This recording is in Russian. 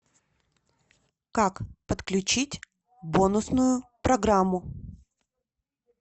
как подключить бонусную программу